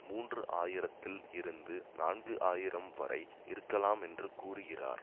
மூன்று ஆயிரத்தில் இருந்து நான்கு ஆயிரம் வரை இருக்கலாம் என்று கூறுகிறார்